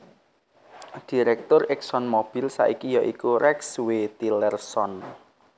Direktur ExxonMobil saiki ya iku Rex W Tillerson